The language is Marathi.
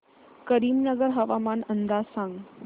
करीमनगर हवामान अंदाज सांग